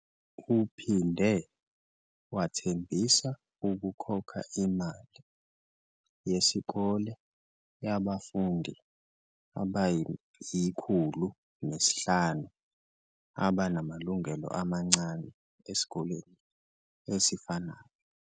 Uphinde wathembisa ukukhokha imali yesikole yabafundi abayi-105 abanamalungelo amancane esikoleni esifanayo.